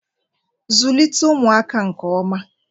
Zụlite ụmụaka nke oma.